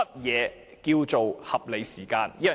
何謂"合理時間"？